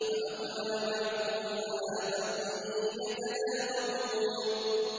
فَأَقْبَلَ بَعْضُهُمْ عَلَىٰ بَعْضٍ يَتَلَاوَمُونَ